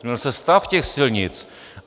Změnil se stav těch silnic.